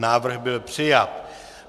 Návrh byl přijat.